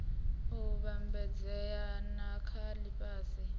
u vhambedzea na dza lifhasi